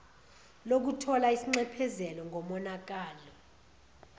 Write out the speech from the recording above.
lokuthola isinxephezelo ngomonakalo